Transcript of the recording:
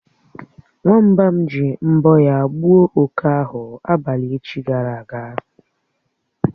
Nwamba m ji mbọ̀ ya gbuo oké ahụ abalị echi gara aga.